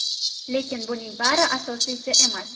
Lekin buning bari asosiysi emas.